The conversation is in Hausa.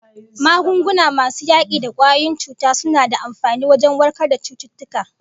Magunguna masu yaki da kwayoyin cuta suna da amfani wajen warkar da cututtuka